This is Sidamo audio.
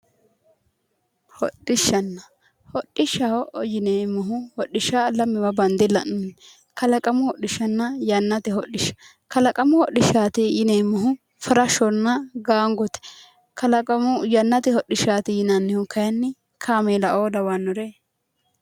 Hodhishsha hodhishshaho yineemmohu hodhishsha lamewa bande la'nanni kalaqamu hoodhishshanna yannate hodhishsha kalaqamu hodhishshaati yineemmohu farashshonna gaangote yannate hodhishshaati yinannihu kayinni kaameela"oo lawannoreeti